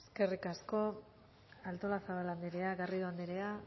eskerrik asko artolazabal anderea garrido anderea